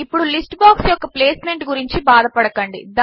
ఇప్పుడు list box యొక్క placement గురించి బాధ పడకండి